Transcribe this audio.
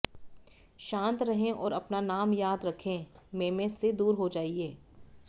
शांत रहें और अपना नाम याद रखें मेमे से दूर जाइए